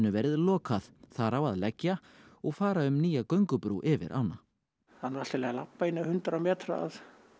verið lokað þar á að leggja og fara um nýja göngubrú yfir ána það er nú allt í lagi að labba eins hundrað metra að